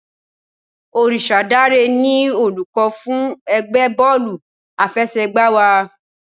Orisadare ni olùkọ́ fún ẹgbẹ́ bọ́ọ̀lù àfẹsẹ̀gbá wa.